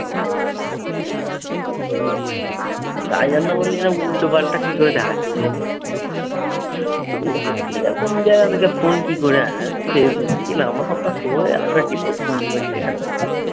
কার জন্য বললি যে উল্টোপাল্টা কি করে এ রকম জায়গা থেকে ফোন কি করে আসে? ফেসবুকে কি নাম্বার টাম্বার show হয়ে গেল নাকি? তো ফোন করছে এখানে।